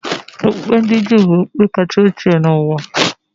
Okpukpe ndi Juu bụ okpukpe kacha ochie n'ụwa.